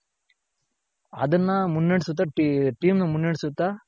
ಅದನ್ನ ಮುನ್ನಡೆಸುತ್ತ team ನ ಮುನ್ನಡೆಸುತ್ತ